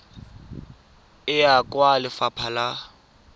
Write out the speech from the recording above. e ya kwa lefapha la